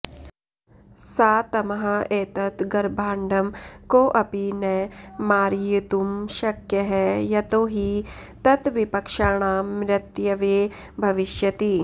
सा तमाह एतत् गर्भाण्डं कोऽपि न मारयितुं शक्यः यतोहि तत् विपक्षाणां मृत्यवे भविष्यति